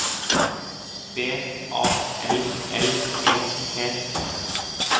B A L L E T